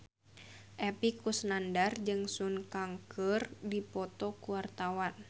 Epy Kusnandar jeung Sun Kang keur dipoto ku wartawan